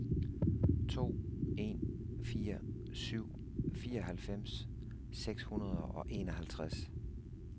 to en fire syv fireoghalvfems seks hundrede og enoghalvtreds